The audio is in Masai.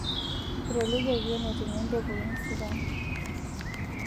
Etolikioki enetumie mpekun sidain